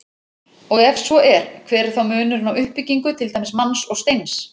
Og ef svo er, hver er þá munurinn á uppbyggingu til dæmis manns og steins?